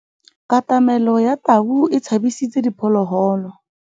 Katamêlô ya tau e tshabisitse diphôlôgôlô.